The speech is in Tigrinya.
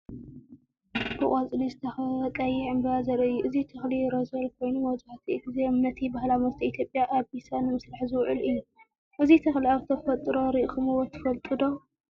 ብቆጽሊ ዝተኸበበ ቀይሕ ዕምባባ ዘርኢ እዩ። እዚ ተኽሊ ሮዘል ኮይኑ፡ መብዛሕትኡ ግዜ ነቲ ባህላዊ መስተ ኢትዮጵያ “ኣቢሳ” ንምስራሕ ዝውዕል እዩ። እዚ ተኽሊ ኣብ ተፈጥሮ ርኢኹምዎ ትፈልጡ ዶ?